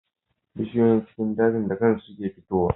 Bishiyoyin cikin daji da kansu kuke fito wa